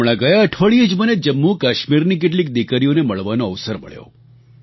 હમણાં ગયા અઠવાડિયે જ મને જમ્મુકાશ્મીરની કેટલીક દિકરીઓને મળવાનો અવસર મળ્યો